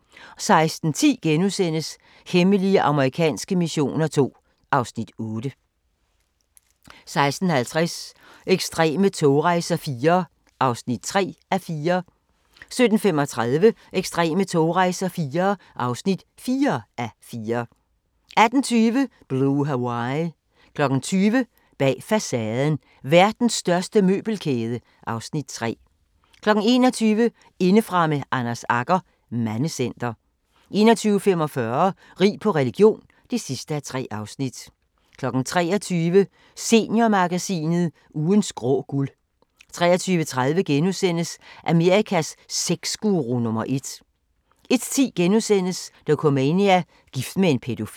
16:10: Hemmelige amerikanske missioner II (Afs. 8)* 16:50: Ekstreme togrejser IV (3:4) 17:35: Ekstreme togrejser IV (4:4) 18:20: Blue Hawaii 20:00: Bag facaden: Verdens største møbelkæde (Afs. 3) 21:00: Indefra med Anders Agger – Mandecenter 21:45: Rig på religion (3:3) 23:00: Seniormagasinet – Ugens grå guld 23:30: Amerikas sexguru nummer ét * 01:10: Dokumania: Gift med en pædofil *